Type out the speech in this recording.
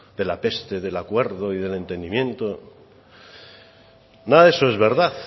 de la peste del acuerdo y del entendimiento nada de eso es verdad